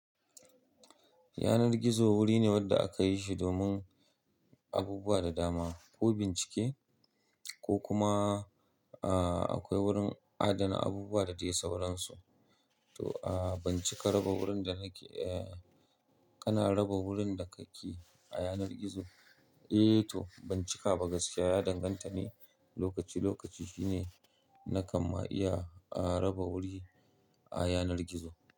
Yanar gizo wuri ne wanda aka yi shi domin abubuwa da dama, ko bincike ko kuma, aa, akwai wurin adana abubuwa da dai sauransu. To a ban cika raba wurin da nake, eh kana raba wurin da ka ke a yanar gizo. Eh to ban cika ba gaskiya ya danganta ne lokaci lokaci shine nakan ma iya, a raba wuri a yanar gizo.